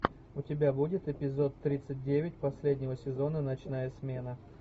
у тебя будет эпизод тридцать девять последнего сезона ночная смена